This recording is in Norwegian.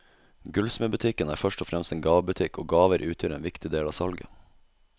Gullsmedbutikken er først og fremst en gavebutikk, og gaver utgjør en viktig del av salget.